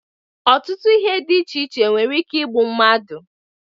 Ọtụtụ ihe dị iche iche nwere ike igbu mmadụ